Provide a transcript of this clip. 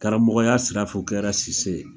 Karamɔgɔya sira fɛ u kɛra Cisse ye.